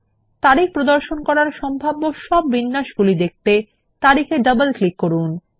তারিখ প্রদর্শন করার সম্ভাব্য সব বিন্যাসগুলি দেখতে তারিখে ডবল ক্লিক করুন